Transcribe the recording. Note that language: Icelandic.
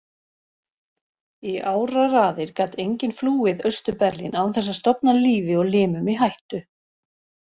Í áraraðir gat enginn flúið Austur-Berlín án þess að stofna lífi og limum í hættu.